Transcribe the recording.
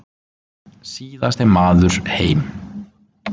Síðasti maður heim.